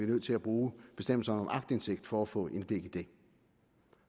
nødt til at bruge bestemmelserne om aktindsigt for at få indblik i det